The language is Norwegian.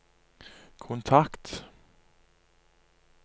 kontakt